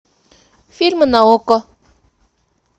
фильмы на окко